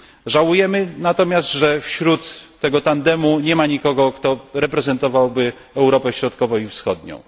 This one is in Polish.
Żałujemy natomiast, że wśród tego tandemu nie ma nikogo, kto reprezentowałby Europę Środkową i Wschodnią.